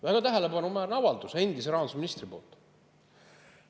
Väga tähelepanuväärne avaldus endise rahandusministri poolt!